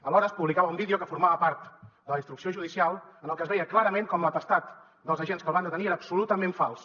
alhora es publicava un vídeo que formava part de la instrucció judicial en el que es veia clarament com l’atestat dels agents que el van detenir era absolutament fals